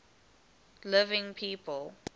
living people